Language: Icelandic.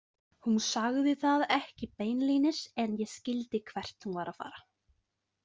Hún sagði það ekki beinlínis en ég skildi hvert hún var að fara.